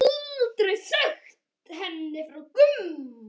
Aldrei sagt henni frá Gumma.